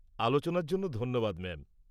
-আলোচনার জন্য ধন্যবাদ ম্যাম।